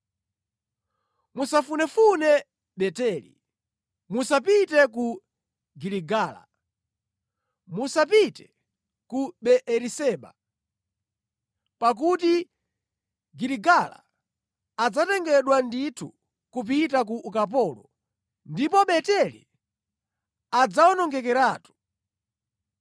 musafunefune Beteli, musapite ku Giligala, musapite ku Beeriseba. Pakuti Giligala adzatengedwa ndithu kupita ku ukapolo, ndipo Beteli adzawonongekeratu.”